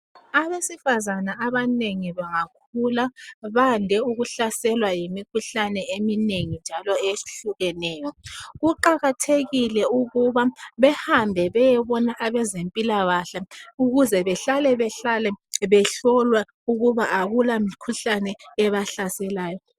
Abesifane abanengi bangakula, bayande ukuhlaselwa yimikhuhlane eminengi njalo eyehlukeneyo. Kuqakethekile ukuba behambe beyebona abezempilakahle ukuze behlale behlolwa ukuba akula mikhuhlane ebasaselayo.